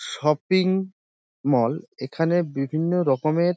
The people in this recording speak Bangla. শপিং মল এখানে বিভিন্ন রকমের--